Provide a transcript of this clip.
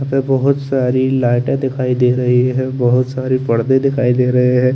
अंदर बहोत सारी लाइटे दिखाई दे रही है और बहोत सारे परर्दे दिखाई दे रहे है।